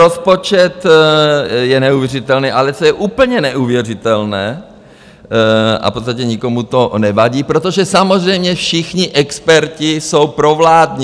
Rozpočet je neuvěřitelný, ale co je úplně neuvěřitelné, a v podstatě nikomu to nevadí, protože samozřejmě všichni experti jsou provládní.